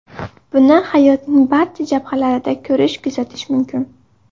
Buni hayotning barcha jabhalarida ko‘rish-kuzatish mumkin.